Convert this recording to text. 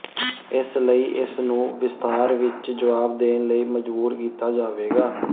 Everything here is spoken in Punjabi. ਇਸ ਲਈ ਇਸ ਨੂੰ ਵਿਸਥਾਰ ਵਿੱਚ ਜਵਾਬ ਦੇਣ ਲਈ ਮਜਬੂਰ ਕੀਤਾ ਜਾਵੇਗਾ